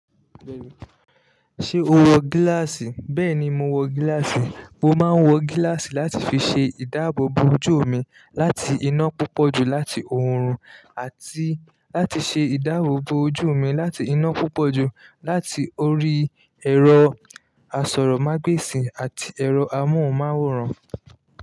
Ṣé o wọ gíláàsì? Bẹ́ẹ̀ni, mo wọ gíláàsì. Mo máa ń wọ gíláàsì láti fi ṣe ìdáàbò bo ojú mi láti iná púpọ̀ jù láti òórùn àti láti ṣe ìdáàbò bo ojú mi láti iná púpọ̀ jù láti orí ẹ̀rọ asọ̀rọ̀mágbèsì àti ẹ̀rọ amóhùnmáwòrán.